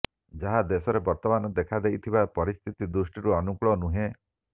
ଯାହା ଦେଶରେ ବର୍ତମାନ ଦେଖାଦେଇଥିବା ପରିସ୍ଥିତି ଦୃଷ୍ଟିରୁ ଅନୁକୂଳ ନୁହେଁ